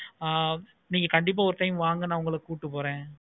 ஆஹ் கண்டிப்பா நீங்க ஒரு time வாங்க நீ கண்டிப்பா கூப்பிட்டு போறேன்.